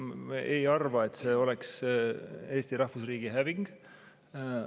Me ei arva, et see oleks Eesti rahvusriigi häving.